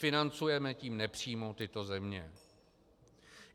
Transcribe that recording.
Financujeme tím nepřímo tyto země.